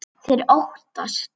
Þeir óttast.